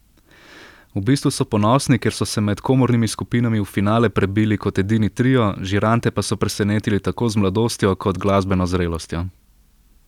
V bistvu so ponosni, ker so se med komornimi skupinami v finale prebili kot edini trio, žirante pa so presenetili tako z mladostjo kot glasbeno zrelostjo.